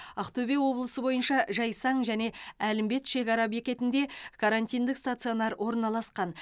ақтөбе облысы бойынша жайсаң және әлімбет шекара бекетінде карантиндік стационар орналасқан